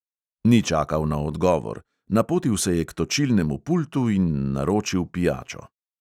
Ni čakal na odgovor: napotil se je k točilnemu pultu in naročil pijačo.